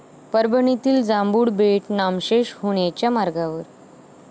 परभणीतील जांभूळ बेट नामशेष होण्याच्या मार्गावर